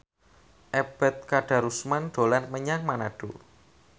Ebet Kadarusman dolan menyang Manado